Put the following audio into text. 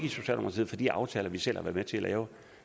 fra de aftaler vi selv har været med til at lave